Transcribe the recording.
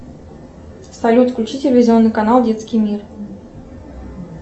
салют включи телевизионный канал детский мир